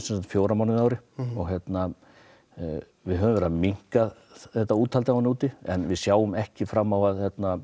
fjóra mánuði á ári en við höfum verið að minnka þetta úthald á henni úti en við sjáum ekki fram á að